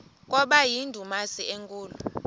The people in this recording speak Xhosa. kwaba yindumasi enkulu